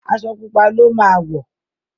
Aṣọ pupa ló má wọ.